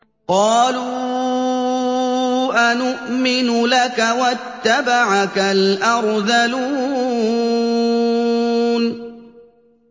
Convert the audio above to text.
۞ قَالُوا أَنُؤْمِنُ لَكَ وَاتَّبَعَكَ الْأَرْذَلُونَ